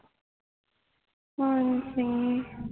ਹਾਂ ਜੀ